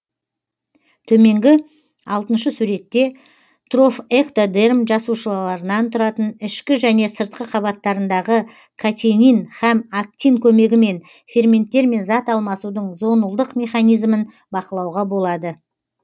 төменгі алтыншы суретте трофэктодерм жасушаларынан тұратын ішкі және сыртқы қабаттарындағы катенин һәм актин көмегімен ферменттермен зат алмасудың зонулдық механизмін бақылауға болады